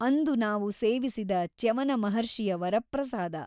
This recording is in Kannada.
ಅಂದು ನಾವು ಸೇವಿಸಿದ ಚ್ಯವನಮಹರ್ಷಿಯ ವರಪ್ರಸಾದ.